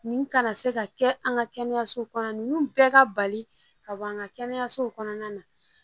Nin kana se ka kɛ an ka kɛnɛyasow kɔnɔ ninnu bɛɛ ka bali ka bɔ an ka kɛnɛyasow kɔnɔna na